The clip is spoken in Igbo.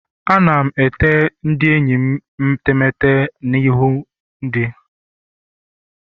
Ana m ete ndị enyi metemeete na ihu ndị